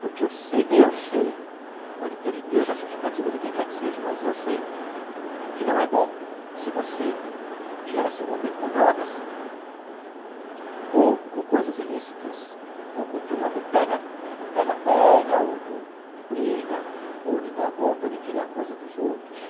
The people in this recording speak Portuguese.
Porque eu sei eu sei, pode ter mil justificativas e quem quer que seja, mas eu sei que não é bom se você vier a se envolver com drogas ou com coisas ilícitas, ou com turma do pega do pega-pega, ou de briga, ou de dar golpe, ou de querer a coisa dos outros.